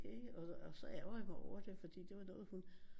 Det og så så ærger jeg mig over det fordi det var noget hun